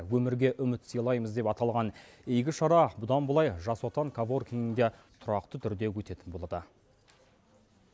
өмірге үміт сыйлаймыз деп аталған игі шара бұдан былай жас отан коворкингінде тұрақты түрде өтетін болды